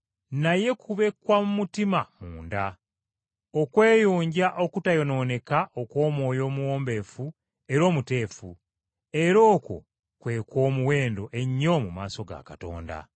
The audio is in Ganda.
Naye kube kwa mu mutima munda; okweyonja okutayonooneka okw’omwoyo omuwombeefu era omuteefu, era okwo kwe kw’omuwendo ennyo mu maaso ga Katonda.